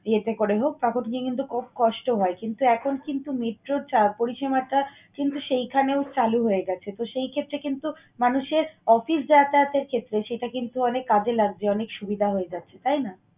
ইয়েতে করে হোক, তারপর তুমি কিন্তু খুব কষ্ট হয় কিন্তু এখন কিন্তু metro র পরিচালনাটা কিন্তু সেইখানেও চালু হয়ে গেছে। তো, সেই ক্ষেত্রে কিন্তু মানুষের অফিস যাতায়াতের ক্ষেত্রে সেটা কিন্তু অনেক কাজে লাগছে, অনেক সুবিধা হয়ে যাচ্ছে, তাই না?